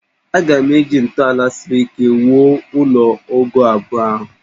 A ga-eji ntọala siri ike wuo ụlọ ogoo abụọ ahụ